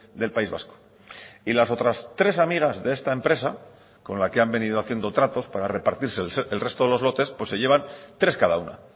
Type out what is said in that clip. del país vasco y las otras tres amigas de esta empresa con la que han venido haciendo tratos para repartirse el resto de los lotes se llevan tres cada una